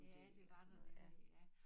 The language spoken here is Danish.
Ja det var der nemlig ja